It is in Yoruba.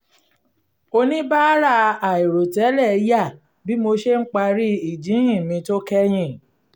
oníbàárà àìrò tẹ́lẹ̀ yà bí mo ṣe ń parí ìjíhìn mi tó kẹ́yìn